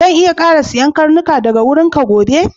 Zan iya ƙara siyan karnuka daga wurinka gobe?